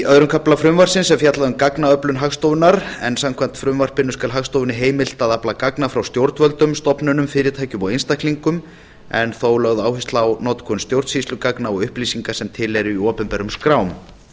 í annar kafli frumvarpsins er fjallað um gagnaöflun hagstofunnar samkvæmt frumvarpinu skal hagstofunni heimilt að afla gagna frá stjórnvöldum stofnunum fyrirtækjum og einstaklingum en þó er lögð áhersla á notkun stjórnsýslugagna og upplýsinga sem til eru í opinberum skrám